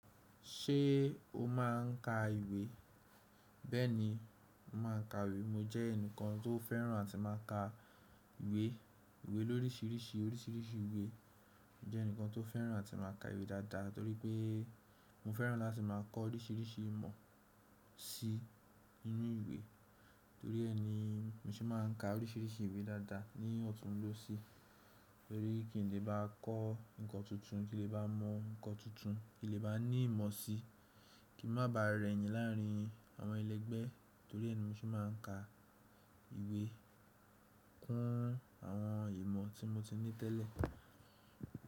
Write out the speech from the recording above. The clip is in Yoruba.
Ṣé o máà ń ka ìwé? Bẹ́ẹ̀ni, mo máa ń ka ìwé. Mo jẹ́ ẹnìkan tó fẹ́ràn àti máa ka ìwé. Ìwé lóríṣiríṣi oríṣiríṣi ìwé. Mo jẹ́ ẹnìkan tó fẹ́ràn àti máa ka ìwé dáadáa torí pé mo fẹ́ràn láti máa kọ́ oríṣiríṣi ìmọ̀ sí inú ìwé. Torí ẹ ni mo sì máa ń ka oríṣiríṣi ìwé dáadáa ni òtún ló sí. Torí kí n lè bá kọ́ nǹkan tuntun, kí n lè bá mọ nǹkan tuntun, kí n lè bá ní ìmọ̀ sí, kí n má ba rẹ̀yìn láàrín àwọn ẹlẹ́gbẹ́. Torí ẹ ni mo sì máa ń ka ìwé kún àwọn ìmọ̀ tí mo ti ní tẹ́lẹ̀.